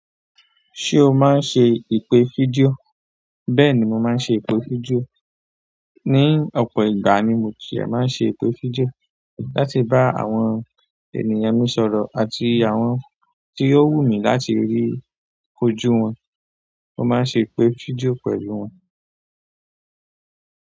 Ṣé o máa ń ṣe ìpè fídíò? Bẹ́ẹ̀ni mo máa ń se ìbojú jù ni ọ̀pọ̀ ìgbà ni mo ti máa ń ṣe ìpè fídíò láti bá àwọn ènìyàn mi sọ̀rọ̀ àti àwọn tí ó wù mí láti rí kójú wọn. Mo máa ń ṣe ìpè fídíò pẹ̀lú wọn.